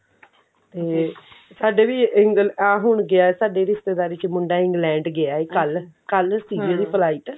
ਤੇ ਸਾਡੇ ਵੀ ਇਹ ਹੇ ਹੁਣ ਗਿਆ ਸਾਡੀ ਰਿਸ਼ਤੇਦਾਰੀ ਚ ਮੁੰਡਾ England ਗਿਆ ਕੱਲ ਸੀਗੀ ਉਹਦੀ flight